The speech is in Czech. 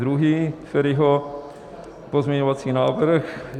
Druhý Feriho pozměňovací návrh.